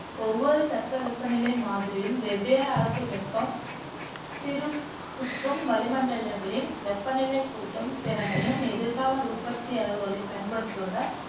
ஒவ்வொரு தட்பவெப்பநிலை மாதிரியும் வெவ்வேறு அளவு வெப்பம் சிறுகுத்தும் வளிமண்டலங்களின் வெப்பநிலை கூட்டும் திறனையும் எதிகால உற்பத்தி அளவுகளையும் பயன்படுத்துவதால்